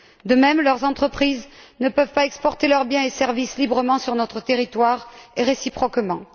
De même, leurs entreprises ne peuvent pas exporter leurs biens et services librement sur notre territoire, et réciproquement.